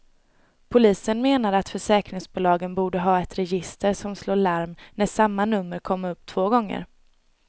Polisen menar att försäkringsbolagen borde ha ett register som slår larm när samma nummer kommer upp två gånger.